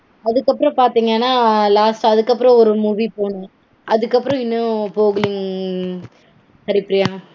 அதுக்கப்பறம் பாத்தீங்கனா last அதுக்கப்பறம் ஒரு movie போனோம். அதுக்கப்பறம் இன்னும் போகலைங் ஹேரிப்பிரியா.